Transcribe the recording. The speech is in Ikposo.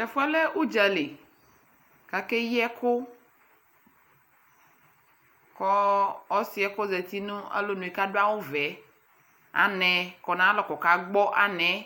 Tɛfuɛ lɛɛ uɖʒali kakeyiɛku kɔɔ ɔsiɛ kɔzati nu alonue kaduawu vɛɛ anɛɛ kɔ nayalɔ kɔkagbɔ anɛɛ